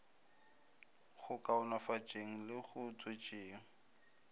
go kaonafatšeng le go tšwetšeng